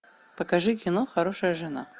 покажи кино хорошая жена